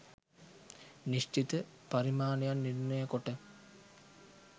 නිශ්චිත පරිමාණයන් නිර්ණය කොට